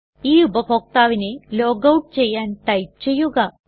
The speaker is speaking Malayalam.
ഈ ഉപഭോക്താവിനെ ലോഗൌട്ട് ചെയ്യാൻ ടൈപ്പ് ചെയ്യുക